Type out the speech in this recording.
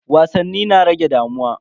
Wasanni na rage damuwa.